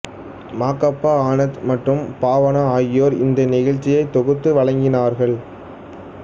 மா கா பா ஆனந்த் மற்றும் பாவனா ஆகியோர் இந்த நிகழ்ச்சியை தொகுத்து வழங்கினார்கள்